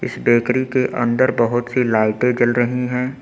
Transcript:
इस बेकरी के अंदर बहोत सी लाइटे जल रही हैं।